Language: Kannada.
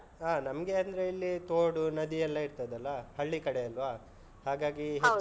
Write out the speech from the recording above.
ಹಾ ನಮ್ಗೆ ಅಂದ್ರೆ ಇಲ್ಲಿ ತೋಡು ನದಿ ಎಲ್ಲ ಇರ್ತದಲ್ಲ ಹಳ್ಳಿ ಕಡೆ ಅಲ್ವ ಹಾಗಾಗಿ. .